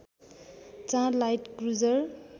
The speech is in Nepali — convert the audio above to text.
चार लाइट क्रूजर